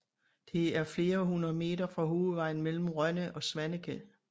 Det er flere hundrede meter fra hovedvejen mellem Rønne og Svaneke